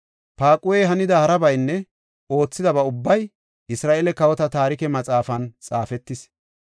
Paaquhey hanida harabaynne oothidaba ubbay Isra7eele Kawota Taarike Maxaafan xaafetis.